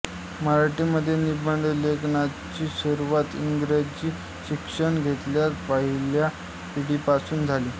मराठीमध्ये निबंधलेखनाची सुरुवात इंग्रजी शिक्षण घेतलेल्या पहिल्या पिढीपासून झाली